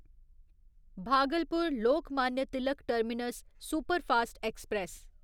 Bhagalpur Lokmanya Tilak terminus superfast express